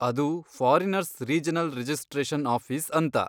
ಅದು foreigners regional registration office ಅಂತ.